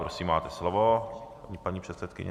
Prosím, máte slovo, paní předsedkyně.